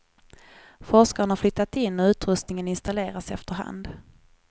Forskarna har flyttat in och utrustningen installeras efter hand.